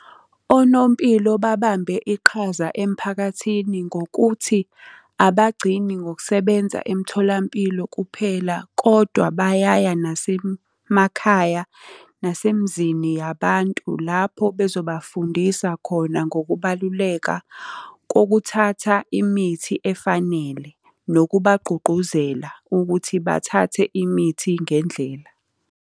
Onompilo babambe iqhaza emiphakathini ngokuthi, abagcini ngokusebenza emtholampilo kuphela kodwa bayaya nasemakhaya, nasemizini yabantu lapho bezobafundisa khona ngokubaluleka kokuthatha imithi efanele, nokubagqugquzela ukuthi bathathe imithi ngendlela.